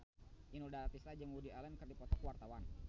Inul Daratista jeung Woody Allen keur dipoto ku wartawan